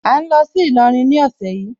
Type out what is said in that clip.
À ń lọ sí Ìlọrin ní ọ̀sẹ̀ yìí.